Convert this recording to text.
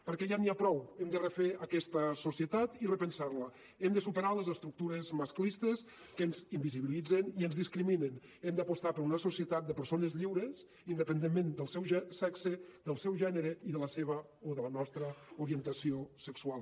perquè ja n’hi ha prou hem de refer aquesta societat i repensar la hem de superar les estructures masclistes que ens invisibilitzen i ens discriminen hem d’apostar per una societat de persones lliures independentment del seu sexe del seu gènere i de la seva o de la nostra orientació sexual